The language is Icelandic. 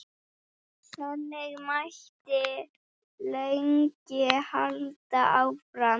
Þannig mætti lengi halda áfram.